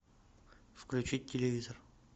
включить телевизор